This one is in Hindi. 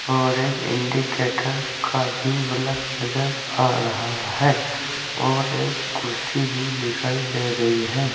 और एक इंडिकेटर का भी बल्फ नजर आ रहा है और एक कुर्सी भी दिखाई दे रही है।